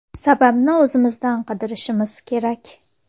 Sababni o‘zimizdan qidirishimiz kerak”.